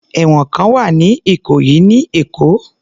Ẹ̀wọ̀n kan wà ní ìkòyí ní Èkó.